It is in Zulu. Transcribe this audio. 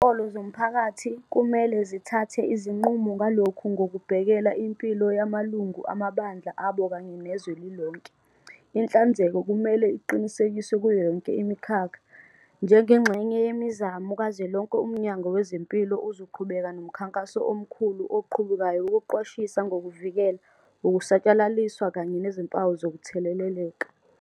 Izinkolo zomphakathi kumele zithathe izinqumo ngalokhu ngokubhekela impilo yamalungu amabandla abo kanye nezwe lilonke. Inhlanzeko kumele iqinisekiswe kuyo yonke imikhakha. Njengengxenye yemizamo kazwelonke UMnyango Wezempilo uzoqhubeka nomkhankaso omkhulu oqhubekayo wokuqwashisa ngokuvikela, ukusatshalaliswa kanye nezimpawu zokutheleleka.